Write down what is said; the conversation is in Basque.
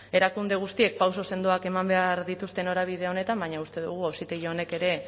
erakunde guztiek pauso sendoak eman behar dituzte norabide honetan baina uste dugu auzitegi honek ere